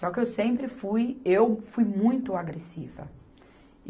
Só que eu sempre fui, eu fui muito agressiva.